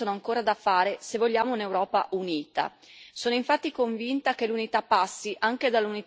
Molti sono stati i progetti finanziati, ma molti sforzi sono ancora da fare se vogliamo un'Europa unita.